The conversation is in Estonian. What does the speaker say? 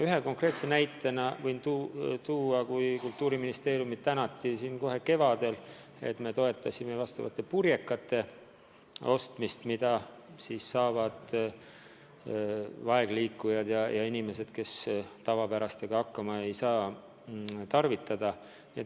Ühe konkreetse näitena võin tuua, et Kultuuriministeeriumi tänati kevadel selle eest, et me toetasime selliste purjekate ostmist, mida saavad kasutada vaegliikujad, kes tavapäraste purjekatega hakkama ei saa.